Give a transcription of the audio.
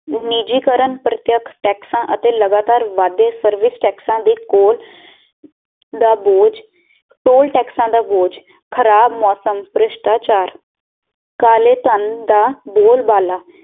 ਉਣੀਜੀ ਕਰਨ ਪ੍ਰਤਿਆਕ ਟੈਕਸਾ ਅਤੇ ਲਗਾਤਾਰ ਵੱਧ ਦੇ ਸਰਵਿਸ ਟੈਕਸਾ ਦੀ ਕੋਰ ਦਾ ਬੋਜ ਤੋਲ ਟੈਕਸਾ ਦਾ ਬੋਜ ਖਰਾਬ ਮੌਸਮ ਪ੍ਰਿਸ਼ਟਾਚਾਰ ਕਾਲੇ ਧਨ ਦਾ ਬੋਲ ਬਾਲਾ